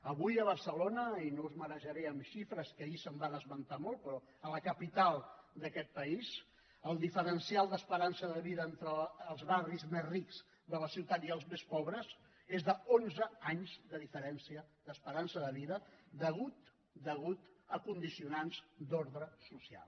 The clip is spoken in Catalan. avui a barcelona i no us marejaré amb xifres que ahir se’n van esmentar moltes però a la capital d’aquest país el diferencial d’esperança de vida entre els barris més rics de la ciutat i els més pobres és d’onze anys de diferència d’esperança de vida a causa de condicionants d’ordre social